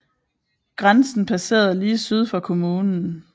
Grænsen passerede lige syd for kommunen